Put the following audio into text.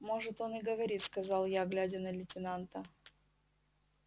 может он и говорит сказал я глядя на лейтенанта